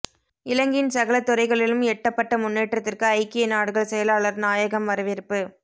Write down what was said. இலங்கையின் சகல துறைகளிலும் எட்டப்பட்ட முன்னேற்றத்திற்கு ஐக்கிய நாடுகள் செயலாளர் நாயகம் வரவேற்பு